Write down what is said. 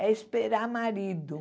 É esperar marido.